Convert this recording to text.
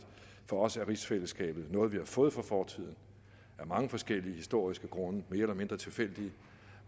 for os er rigsfællesskabet noget vi har fået fra fortiden af mange forskellige historiske grunde mere eller mindre tilfældige